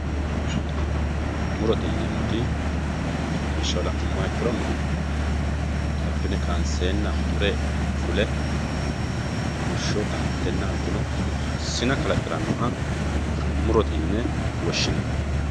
murote yineemoti lawishshaho la'numo ikkiro abbine kaanseenna mure fule rumushsho damattenna hattono sina kalaqirannoha murote yine woshshinanni.